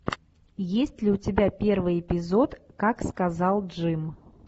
есть ли у тебя первый эпизод как сказал джим